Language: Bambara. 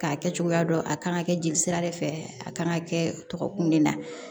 K'a kɛ cogoya dɔn a kan ka kɛ jelisira de fɛ a kan ka kɛ tɔgɔ kun de la